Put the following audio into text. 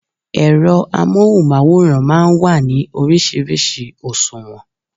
Ẹ̀rọ amóhùnmáwòrán máa ń wà ní oríṣiríṣi òṣùwọ̀n